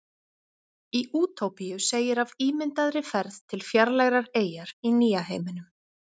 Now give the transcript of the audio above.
í útópíu segir af ímyndaðri ferð til fjarlægrar eyjar í nýja heiminum